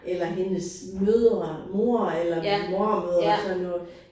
Eller hendes mødre mor eller mormødre og sådan noget